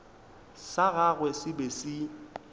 sa gagwe se be se